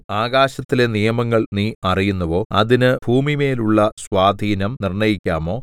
ആകാശത്തിലെ നിയമങ്ങൾ നീ അറിയുന്നുവോ അതിന് ഭൂമിമേലുള്ള സ്വാധീനം നിർണ്ണയിക്കാമോ